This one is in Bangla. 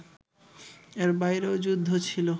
এর বাইরেও যুদ্ধ ছিল